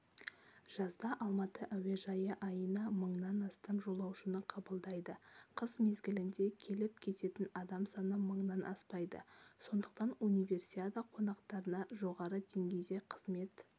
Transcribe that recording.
жазда алматы әуежайы айына мыңнан астам жолаушыны қыбылдайды қыс мезгілінде келіп-кететін адам саны мыңнан аспайды сондықтан универсиада қонақтарына жоғары деңгейде қызмет